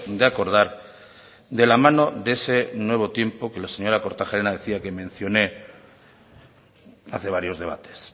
de acordar de la mano de ese nuevo tiempo que la señora kortajarena decía que mencioné hace varios debates